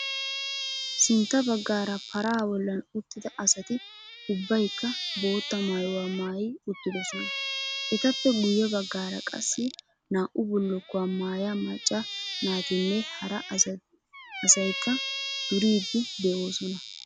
Sintta baggaara paraa bollan uttida asati ubbaykka bootta maayuwaa maayi uttidosona. Etappe guyye baggaara qassi naa"u bullukkuwaa maaya macca naatinne hara asaykka duriiddi de'oosona.